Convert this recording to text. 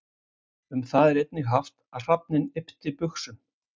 Um það er einnig haft að hrafninn yppti buxum.